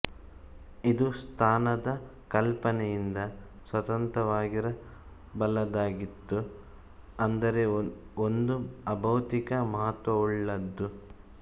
ಇದು ಸ್ಥಾನದ ಕಲ್ಪನೆಯಿಂದ ಸ್ವತಂತ್ರವಾಗಿರಬಲ್ಲದ್ದಾಗಿತ್ತು ಅಂದರೆ ಒಂದು ಅಭೌತಿಕ ಮಹತ್ವವುಳ್ಳದ್ದು